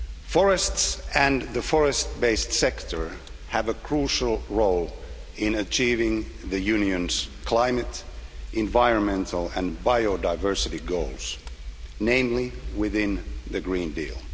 Forests and the forest based sector have a crucial role to play in achieving the Union's climate, environmental and biodiversity goals, namely within the Green Deal.